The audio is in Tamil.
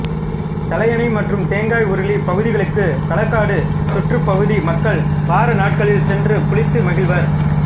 தலையணை மற்றும் தேங்காய் உருளி பகுதிகளுக்கு களக்காடு சுற்றுப் பகுதி மக்கள் வார நாட்களில் சென்று குளித்து மகிழ்வர்